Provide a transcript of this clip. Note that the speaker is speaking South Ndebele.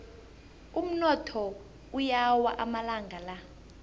umnotho uyawa amalanga la